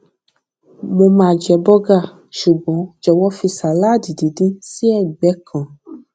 mo máa jẹ bọgà ṣùgbọn jòwó fi sàláàdì díndín sí ẹgbẹ kan